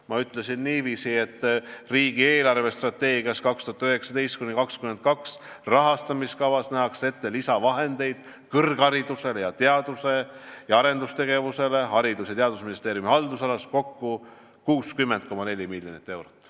Ma ütlesin, et riigi eelarvestrateegia 2019–2022 rahastamiskavas nähakse Haridus- ja Teadusministeeriumi haldusalas ette lisavahendeid kõrgharidusele ning teadus- ja arendustegevusele kokku 60,4 miljonit eurot.